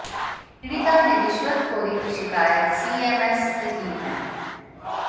पीड़िता ने रिश्वतखोरी की शिकायत सीएमएस से की है